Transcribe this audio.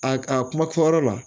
A a kuma kuma fɔ yɔrɔ la